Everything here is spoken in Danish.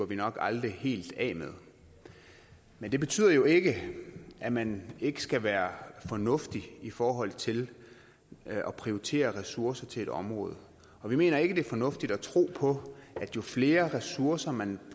vi nok aldrig helt af med men det betyder jo ikke at man ikke skal være fornuftig i forhold til at prioritere ressourcer til et område og vi mener ikke det er fornuftigt at tro på at jo flere ressourcer man